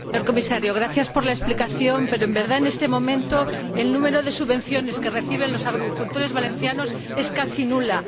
Señor Comisario, gracias por la explicación, pero, en realidad, en este momento el número de subvenciones que reciben los agricultores valencianos es casi nulo.